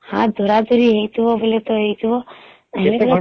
ହାତ ଧାରା ଧରି ହେଇଥିବ ବୋଲେ ତ ହେଇଥିବ ନହେଲେ